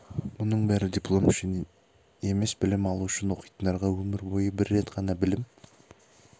мұның бәрі диплом үшін емес білім алу үшін оқитындарға өмір бойы бір рет қана білім